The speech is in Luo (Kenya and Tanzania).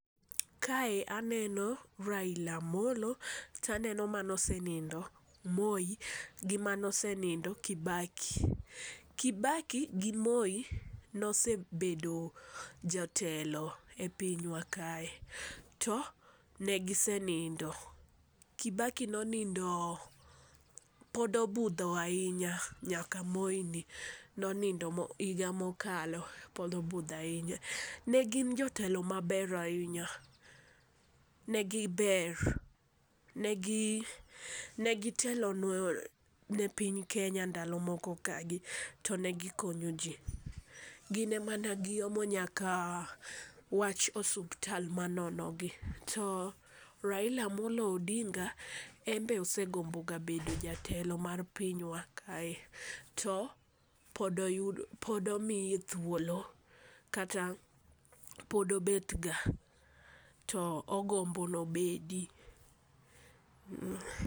Kae aneno Raila Amollo, taneno manosenindo Moi, gi mano senindo, Kibaki. Kibaki gi Moi ne osebedo jotelo e pinywa kae to negisenindo. Kibaki nonindo, to pod obudho ahinya nyaka Moini nonindo higa mokalo. Pod obudho ahinya. Ne gin jotelo maber ahinya. Ne giber, ne gitelo ne piny Kenya ndalo moko kagi to ne gikonyo ji. Gin ema ne giomo nyaka wach osuptal manonogi. To Raila Amolo Odinga, embe osegomboga bedo jatelo mar pinywa kae. To, pod omiye thuolo kata pod obetga, to ogombo nobedi.